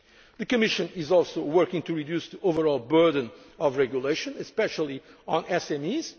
industries face. The Commission is also working to reduce the overall burden of regulation,